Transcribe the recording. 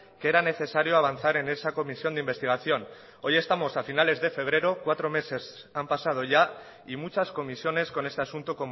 que era necesario avanzar en esa comisión de investigación hoy estamos a finales de febrero cuatro meses han pasado ya y muchas comisiones con este asunto